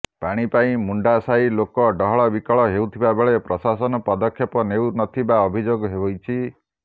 ପାଣି ପାଇଁ ମୁଣ୍ଡା ସାହି ଲୋକ ଡହଳବିକଳ ହେଉଥିବାବେଳେ ପ୍ରଶାସନ ପଦକ୍ଷେପ ନେଉନଥିବା ଅଭିଯୋଗ ହୋଇଛି